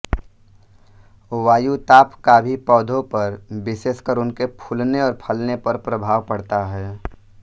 वायुताप का भी पौधों पर विशेषकर उनके फूलने और फलने पर प्रभाव पड़ता है